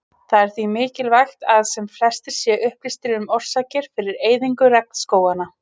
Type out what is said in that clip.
Það er því mikilvægt að sem flestir séu upplýstir um orsakir fyrir eyðingu regnskóganna.